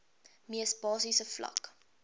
mees basiese vlak